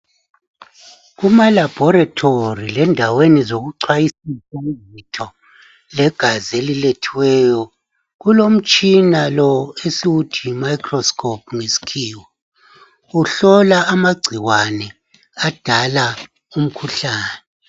Kuma laboratory lakundawo zokucwayisisa zegazi elilethiweyo kulomtshina lo esiwuthi yi microscope ngesikhiwa uhlola amagcikwane adala umkhuhlane